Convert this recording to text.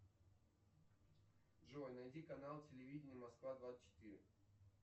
джой найди канал телевидения москва двадцать четыре